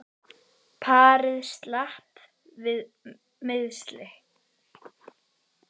Parið slapp við meiðsli